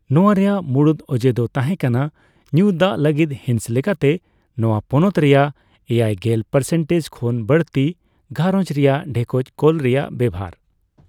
ᱱᱚᱣᱟ ᱨᱮᱭᱟᱜ ᱢᱩᱲᱩᱫ ᱚᱡᱮ ᱫᱚ ᱛᱟᱸᱦᱮᱠᱟᱱᱟ ᱧᱩ ᱫᱟᱜᱽ ᱞᱟᱹᱜᱤᱫ ᱦᱤᱸᱥ ᱞᱮᱠᱟᱛᱮ ᱱᱚᱣᱟ ᱯᱚᱱᱚᱛ ᱨᱮᱭᱟᱜ ᱮᱭᱟᱭᱜᱮᱞ ᱯᱟᱨᱥᱮᱱᱴᱮᱡᱽ ᱠᱷᱚᱱ ᱵᱟᱹᱲᱛᱤ ᱜᱷᱟᱨᱚᱸᱡᱽ ᱨᱮᱭᱟᱜ ᱰᱷᱮᱠᱚᱡ ᱠᱚᱞ ᱨᱮᱭᱟᱜ ᱵᱮᱣᱦᱟᱨ ᱾